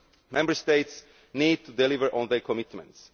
term. Member States need to deliver on their commitments.